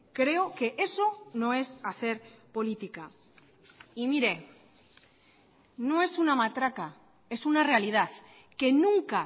creo que eso no es hacer política y miren no es una matraca es una realidad que nunca